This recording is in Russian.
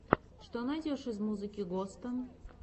что найдешь из музыки госта